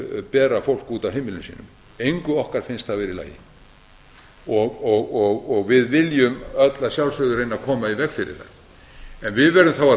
bera fólk út af heimilum sínum engu okkar finnst það vera í lagi og við viljum öll að sjálfsögðu reyna að koma í veg fyrir það en við verðum þá að